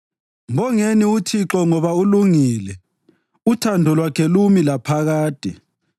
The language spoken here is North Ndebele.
Mbongeni uThixo ngoba ulungile; uthando lwakhe lumi laphakade.